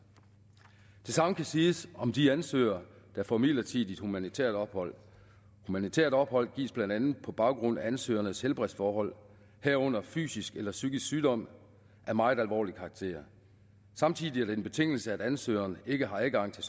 det samme kan siges om de ansøgere der får midlertidigt humanitært ophold humanitært ophold gives blandt andet på baggrund af ansøgernes helbredsforhold herunder fysisk eller psykisk sygdom af meget alvorlig karakter samtidig er det en betingelse at ansøgeren ikke har adgang til